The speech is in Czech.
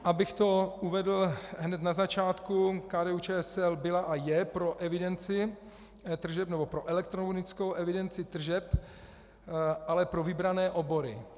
Abych to uvedl hned na začátku, KDU-ČSL byla a je pro evidenci tržeb nebo pro elektronickou evidenci tržeb, ale pro vybrané obory.